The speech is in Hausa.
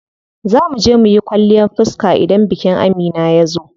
Zaa muje muyi kwalliyan fiska idan bikin Amina yazo.